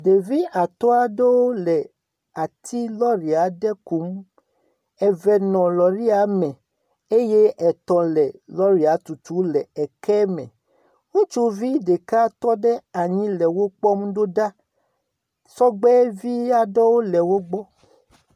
Ɖevi atɔ̃ aɖe le ati lɔri aɖe kum. Eve nɔ lɔria me eye etɔ̃ le lɔri tutum le keme. Ŋutsu ɖeka tɔ ɖe anyi le wokpɔm do ɖa. Sɔgbe vi aɖewo le wogbɔ.